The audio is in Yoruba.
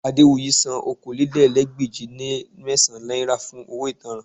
Adéwuyì san Okòólélẹ́ẹ̀ẹ́dégbèje-le-mẹ́sàn-án náírà fún owó ìtanràn